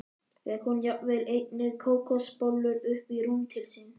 Fékk hún jafnvel einnig kókosbollur upp í rúm til sín.